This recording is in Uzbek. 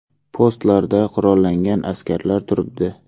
Postlarda qurollangan askarlar turibdi.